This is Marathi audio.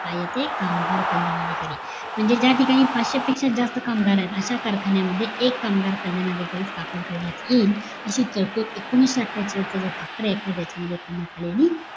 काय येते कामगार कल्याणाधिकारी म्हणजे ज्या ठिकाणी पाचशे पेक्षा जास्त कामगार आहेत अशा कारखान्यामध्ये मध्ये एक कामगार कल्याणाधिकारी स्थापन करण्यात येईल अशी तरतूद एकोणीशे अट्ठेचाळीस जो FACTORY ACT आहे त्याच्यामध्ये करण्यात आलेली आहे